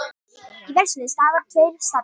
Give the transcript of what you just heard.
Í versluninni starfa tveir starfsmenn